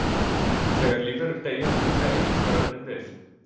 Þegar lífverur deyja taka eyðingaröflin við.